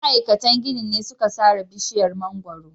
Ma'aikatan ginin ne suka sare bishiyar mangwaro.